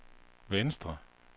venstre